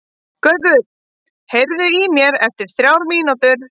Gaukur, heyrðu í mér eftir þrjár mínútur.